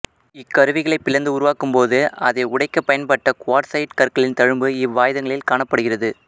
இக்கருவிகளைப் பிளந்து உருவாக்கும் போது அதை உடைக்க பயன்பட்ட குவாட்சயிட் கற்களின் தழும்பு இவ்வாயுதங்களில் காணப்படுகிறது